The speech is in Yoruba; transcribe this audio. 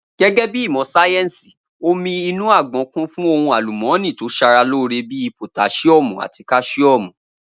Gé̩gé̩ bí ìmò̩ sáyè̩nsì, omí inú àgbo̩n kún fún ohun àlùmó̩nì tó s̩aralóore bí i pòtás̩íó̩mù àti kás̩íò̩mù